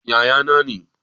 Yaya na ne